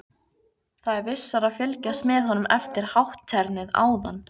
Það er vissara að fylgjast með honum eftir hátternið áðan.